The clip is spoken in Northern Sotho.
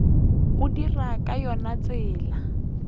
o dira ka yona tsela